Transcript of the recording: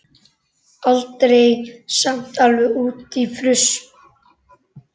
Aldrei samt alveg út í fruss.